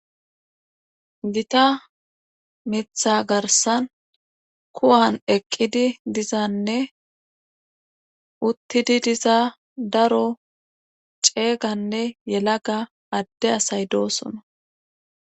Gita mitha garsan kuwan eqqidi dizanne uttidi diza daro ceeganne yelaga adde asay doosona.